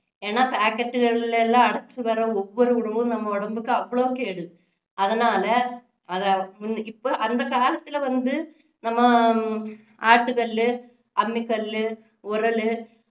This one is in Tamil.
ஏன்னா packet களில எல்லாம் அடைச்சு வர்ற ஒவ்வொரு உணவும் நம்ம உடம்புக்கு அவ்வளவு கேடு அதனால அதை இப்போ அந்த காலத்துல வந்து நம்ம அஹ் ஆட்டுகல்லு அம்மிக்கல்லு உரலு